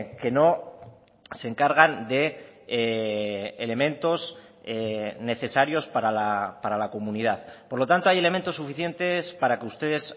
que no se encargan de elementos necesarios para la comunidad por lo tanto hay elementos suficientes para que ustedes